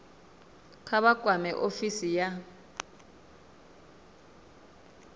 kha vha kwame ofisi ya